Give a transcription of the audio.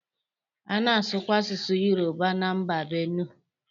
A na-asụkwa asụsụ Yoruba na mba Bene.